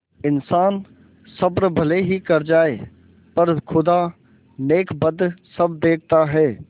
इन्सान सब्र भले ही कर जाय पर खुदा नेकबद सब देखता है